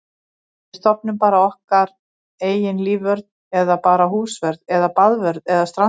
Við stofnum bara okkar eigin lífvörð eða bara húsvörð eða baðvörð eða strandvörð.